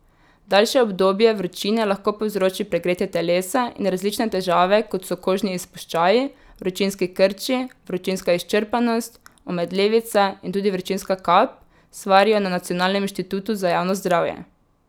Daljše obdobje vročine lahko povzroči pregretje telesa in različne težave, kot so kožni izpuščaji, vročinski krči, vročinska izčrpanost, omedlevica in tudi vročinska kap, svarijo na Nacionalnem inštitutu za javno zdravje.